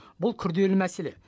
бұл күрделі мәселе